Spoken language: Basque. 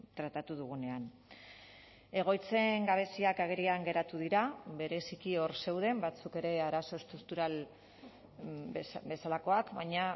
tratatu dugunean egoitzen gabeziak agerian geratu dira bereziki hor zeuden batzuk ere arazo estruktural bezalakoak baina